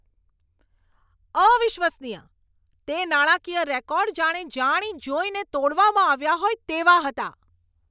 અવિશ્વસનીય! તે નાણાકીય રેકોર્ડ જાણે જાણીજોઈને તોડવામાં આવ્યા હોય તેવા હતા!